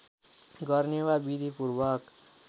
गर्ने वा विधिपूर्वक